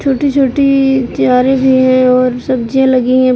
छोटी छोटी क्यारी भी है और सब्जियां लगी है।